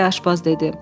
aşbaz dedi.